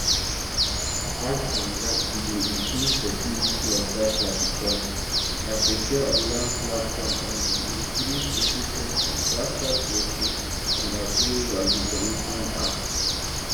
apart from dat e go improve security of data bicos na secure online platform and e increase efficiency faster processing and approval di commission add